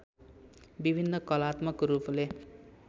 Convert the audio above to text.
विभिन्न कलात्मक रूपले